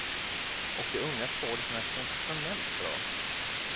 Och de unga skådisarna är sensationellt bra.